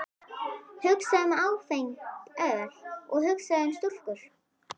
Hugsaðu um áfengt öl og hugsaðu um stúlkur!